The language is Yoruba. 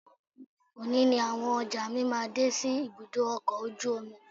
Òní ni àwọn ọjà mi máa dé sí ibùdó ọkọ̀ ojú omi